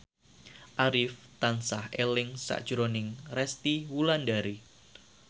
Arif tansah eling sakjroning Resty Wulandari